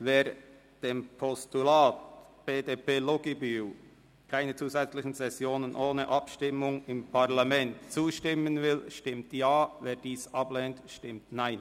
Wer dem Postulat zustimmen will, stimmt Ja, wer dieses ablehnt, stimmt Nein.